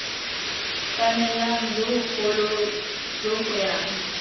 kanelang jo bogolo jo goyang